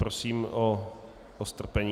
Prosím o strpení.